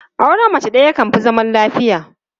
Auren mace ɗaya yakan fi zaman lafiya.